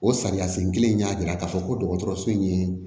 O sariya sen kelen in y'a jira k'a fɔ ko dɔgɔtɔrɔso in ye